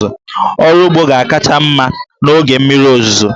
Ọrụ ugbo ga-akacha mma n'oge mmiri ozuzo.